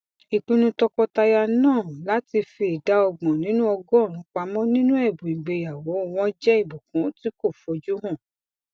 ìpinnu tọkọtaya náà láti fi ìdá ọgbọn nínú ọgọrùnún pamọ nínú ẹbùn ìgbéyàwó wọn jẹ ìbùkún tí kò fojú hàn